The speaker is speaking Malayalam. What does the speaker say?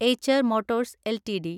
Eicher Motors LTD